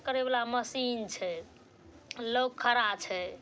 करे वला मशीन छै। लोक खड़ा छै।